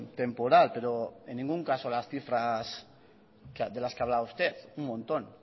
temporal pero en ningún caso las cifras de las que hablaba usted un montón